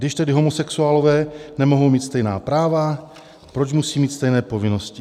Když tedy homosexuálové nemohou mít stejná práva, proč musí mít stejné povinnosti?